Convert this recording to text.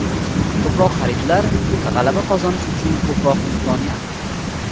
Ko‘proq xaridlar g‘alaba qozonish uchun ko‘proq imkoniyat!